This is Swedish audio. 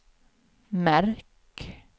märk